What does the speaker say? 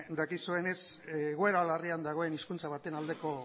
dakizuenez egoera larrian dagoen hizkuntza baten aldeko